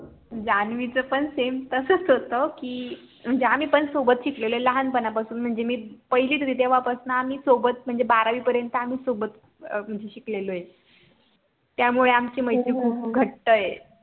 जानवी च पण SAME तसच होत की म्हणजे आम्ही पण सोबत शिकलेले लहानपणापासून म्हणजे मी पहिलीत होते तेव्हापासून आम्ही सोबत म्हणजे बारावी पर्यंत आम्ही सोबत म्हणजे शिकलेलोय त्यामुळे आमची मैत्री खूप घट्ट आहे